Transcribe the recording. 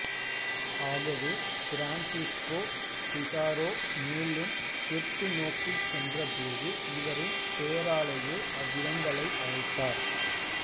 ஆகவே Francisco Pizarro மேலும் தெற்கு நோக்கிச் சென்றபோது இவரின் பெயராலேயே அவ்விடங்களை அழைத்தார்